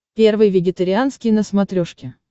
первый вегетарианский на смотрешке